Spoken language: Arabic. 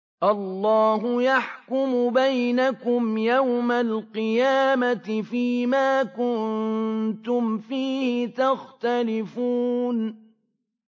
اللَّهُ يَحْكُمُ بَيْنَكُمْ يَوْمَ الْقِيَامَةِ فِيمَا كُنتُمْ فِيهِ تَخْتَلِفُونَ